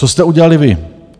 Co jste udělali vy?